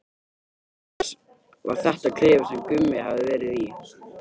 Auk þess var þetta klefinn sem Gummi hafði verið í.